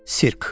Sirk.